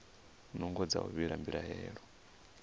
nungo dza u vhiga mbilaelo